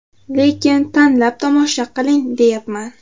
Lekin tanlab tomosha qiling deyapman.